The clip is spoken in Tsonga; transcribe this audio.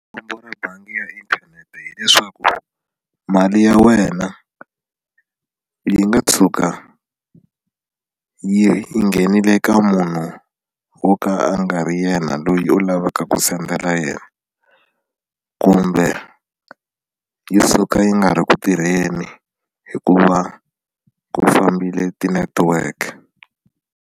Khombo ra bangi ya inthanete hileswaku mali ya wena yi nga tshuka yi nghenile ka munhu wo ka a nga ri ya yena loyi u lavaka ku sendela yena kumbe yi suka yi nga ri ku tirheni hikuva ku fambile tinetiweke.